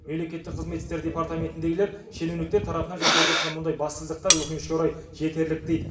мемлекеттік қызмет істері департаментіндегілер шенеуніктер тарапынан жасалып жатқан мұндай бассыздықтар өкінішке орай жетерлік дейді